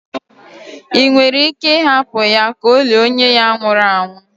ị nwere ike hapụ ya ka o lie onye ya nwụru anwụ?